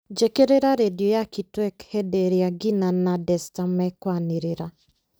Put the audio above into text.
njĩkĩrĩra rĩndiũ ya kitwek hĩndĩ ĩrĩa gina na desta mekwanĩrĩra